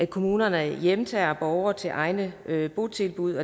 kommunerne hjemtager borgere til egne botilbud